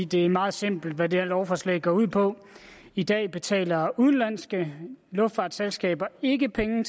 det er meget simpelt hvad det her lovforslag går ud på i dag betaler udenlandske luftfartsselskaber ikke penge